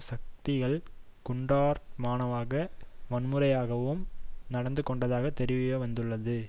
சக்திகள் குண்டர்தனமாகவும் வன்முறையாகவும் நடந்துகொண்டதாக தெரியவந்துள்ளது